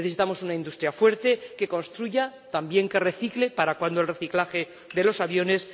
Necesitamos una industria fuerte que construya, también que recicle ―¿para cuándo el reciclaje de los aviones?―,